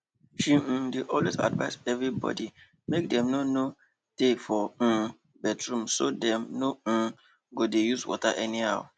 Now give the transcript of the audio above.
she um dey always advice everybody make dem no no tey for um bathroom so dem no um go dey use water anyhow